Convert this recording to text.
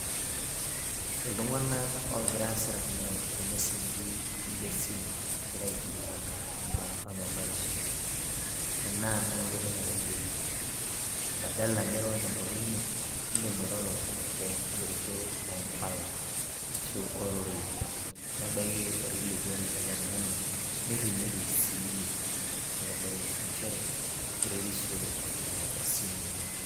Itung'anak oogira aasirakino irmeseji le simu egira aikilikwana imbaa ormabarishoi. Ore ena naa enkoitoi nairorieki, badala niro tenkutuk ino, iidim airoro tenkigeroto oo mbala ashu oororei. Nebaiki orkilikwai eletung'ani, nirrinyoki siiyie neitodolu njere eretisho esimu oleng'.